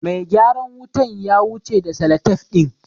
Mai gyaran wutan ya wuce da salatef ɗin.